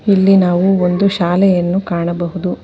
ಇಲ್ಲಿ ನಾವು ಒಂದು ಶಾಲೆಯನ್ನು ಕಾಣಬಹುದು.